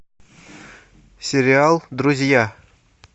сериал друзья